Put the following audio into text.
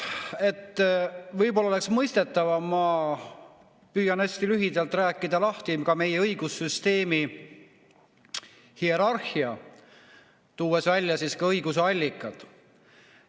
Võib-olla oleks asi mõistetavam, kui ma püüan hästi lühidalt rääkida lahti meie õigussüsteemi hierarhia, tuues välja õiguse allikad.